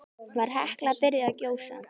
Var Hekla byrjuð að gjósa?